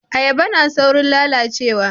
Ayaba na saurin lalacewa